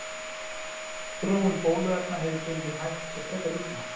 Þróun bóluefna hefur gengið hægt og frekar illa.